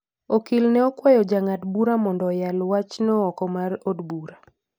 Okil ne okwayo jang'ad - bura mondo oyal wachno oko mar od bura.